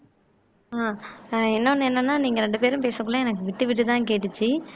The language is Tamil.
ஆஹ் இன்னொன்னு என்னன்னா நீங்க ரெண்டு பேரும் பேசறதுக்குள்ள எனக்கு விட்டு விட்டுதான் கேட்டுச்சு